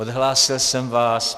Odhlásil jsem vás.